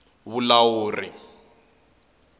vulawuri